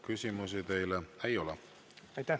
Küsimusi teile ei ole.